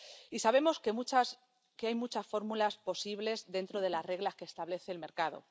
Y sabemos que hay muchas fórmulas posibles dentro de las reglas que establece el mercado.